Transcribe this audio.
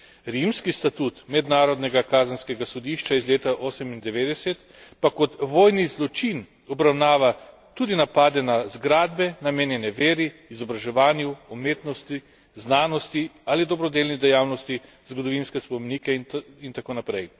Rimski statut Mednarodnega kazenskega sodišča iz leta '98 pa kot vojni zločin obravnava tudi napade na zgradbe, namenjene veri, izobraževanju, umetnosti, znanosti ali dobrodelni dejavnosti, zgodovinske spomenike in tako naprej.